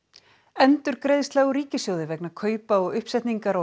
endurgreiðsla úr ríkissjóði vegna kaupa og uppsetningar á